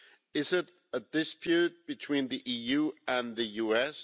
Is it a dispute between the EU and the US?